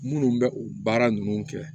Minnu bɛ u baara ninnu kɛ